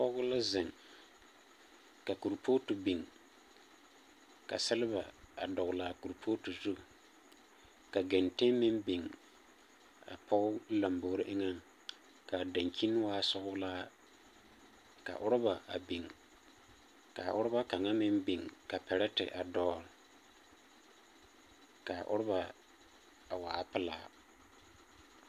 pɔge la zeŋ, ka korepooti biŋ, ka selba dɔgele a korepooti zuŋ ka genteŋ meŋ biŋ a pɔge lambori eŋaŋ ka daŋkyini waa sɔgelaa. Ka oroba a biŋ ka a oroba kaŋa biŋ ka pɛrɛtɛ a dɔgele, ka aoroba a waa pelaa.